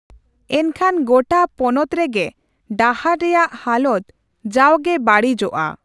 ᱮᱱᱠᱷᱟᱱ ᱜᱚᱴᱟ ᱯᱚᱱᱚᱛ ᱨᱮᱜᱮ ᱰᱟᱦᱟᱨ ᱨᱮᱭᱟᱜ ᱦᱟᱞᱚᱛ ᱡᱟᱣᱜᱮ ᱵᱟᱹᱲᱤᱡᱚᱜᱼᱟ ᱾